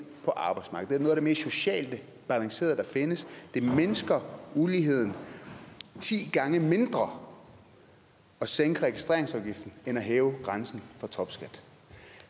på arbejdsmarkedet er det mest socialt balancerede der findes det mindsker uligheden ti gange mindre at sænke registreringsafgiften end at hæve grænsen for topskat